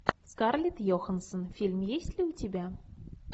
скарлетт йоханссон фильм есть ли у тебя